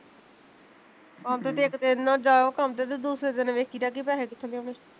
ਆਹੋ ਤੇ ਇੱਕ ਦਿਨ ਨਾ ਜਾਓ ਕੰਮ ਤੇ ਤੇ ਦੂਸਰੇ ਦਿਨ ਵੇਖੀ ਦਾ ਕੀ ਪੈਸੇ ਕਿਥੋਂ ਲਿਆਉਣੇ